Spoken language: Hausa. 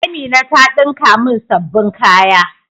Amina ta dinka min sabbin kaya.